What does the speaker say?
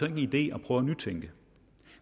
en idé at prøve at nytænke